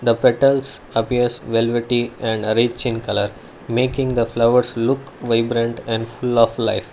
Petals appears velvety and arrange in colour making the flowers look vibrant and full of life.